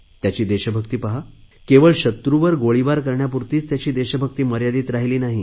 त्याची देशभक्ती पहा केवळ शत्रूवर गोळीबार करण्यापुरतीच त्याची देशभक्ती मर्यादित राहिली नाही